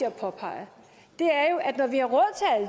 at påpege